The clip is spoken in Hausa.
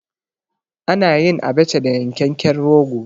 A nayin Abacha da yankekken rogo